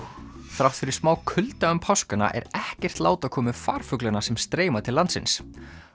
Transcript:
þrátt fyrir smá kulda um páskana er ekkert lát á komu farfuglanna sem streyma til landsins